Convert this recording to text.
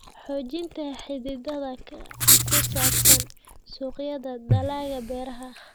Xoojinta xidhiidhka ku saabsan suuqyada dalagga beeraha.